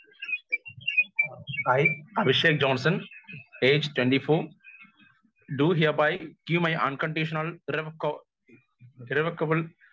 speaker 1 I Abhishek Johnson age twenty four hereby give my unconditional റബ്‌കോ revocable